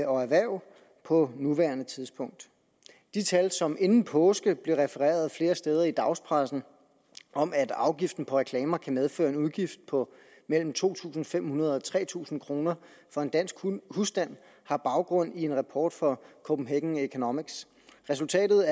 og erhverv på nuværende tidspunkt de tal som inden påske blev refereret flere steder i dagspressen om at afgiften på reklamer kan medføre en udgift på mellem to tusind fem hundrede kroner og tre tusind kroner for en dansk husstand har baggrund i en rapport fra copenhagen economics resultatet